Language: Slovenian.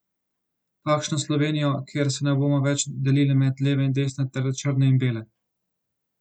Takšno Slovenijo, kjer se ne bomo več delili med leve in desne ter črne in bele.